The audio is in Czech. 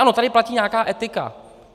Ano, tady platí nějaká etika.